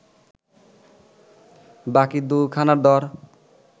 বাকি দু’খানার দর